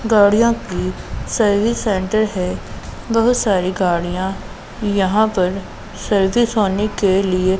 गाड़ियों की service center है बहुत सारी गाड़ियां यहां पर सर्विस होने के लिए--